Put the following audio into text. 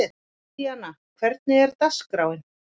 Indíana, hvernig er dagskráin?